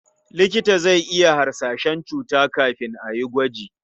Likita zai iya hasashen cuta kafin a yi gwaji.